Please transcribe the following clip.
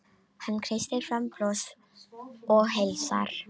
Hann kreistir fram bros og heilsar.